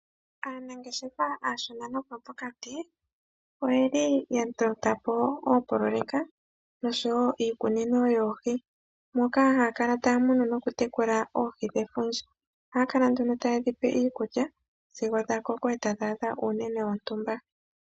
Aanangeshefa aashona noyo pokati oyeli yatotapo oopoloyeka noshowo iikunino yoohi, moka yeli taya munu noku tekula oohi dhefundja ohaakala nduno taye dhipe iikulya sigo dhakoko ,etadhi adha uunene wotumba.